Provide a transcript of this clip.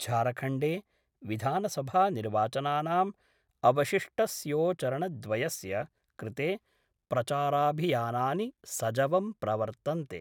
झारखण्डे विधानसभानिर्वाचनानाम् अवशिष्टस्यो चरणद्वयस्य कृते प्रचाराभियानानि सजवं प्रवर्तन्ते